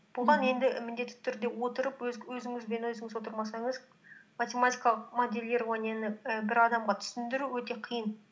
бұған енді і міндетті түрде отырып өзіңіз бен өзіңіз отырмасаңыз математикалық моделированияны і бір адамға түсіндіру өте қиын